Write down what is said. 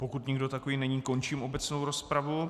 Pokud nikdo takový není, končím obecnou rozpravu.